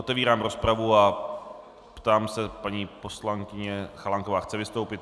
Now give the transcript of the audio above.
Otevírám rozpravu a ptám se paní poslankyně Chalánková - chce vystoupit?